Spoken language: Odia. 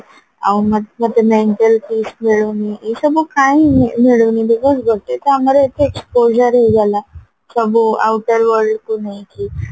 ଆଉ ମତେ mental peace ମିଳୁନି ଏଇସବୁ କାଇଁ ମିଳୁନି because ଗୋଟେକୁ ଆମର ଏତେ exposeର ହେଇଗଲା ସବୁ outer worldକୁ ନେଇକି